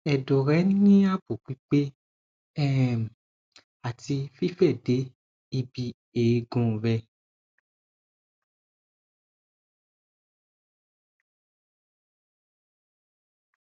edo re ni abo pipe um ati fife de ibi eegun re